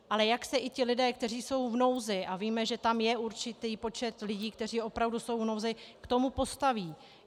Ale jak se i ti lidé, kteří jsou v nouzi, a víme, že tam je určitý počet lidí, kteří opravdu jsou v nouzi, k tomu postaví?